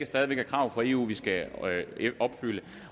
stadig væk er krav fra eu som vi skal opfylde